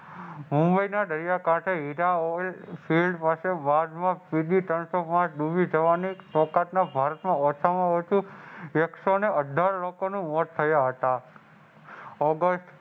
મુંબઈના દરિયાકાંઠે પાસે ઓછામાં ઓછું એક્સઓને અઢાર લોકોનું મોત થયા હતા. ઓગસ્ટ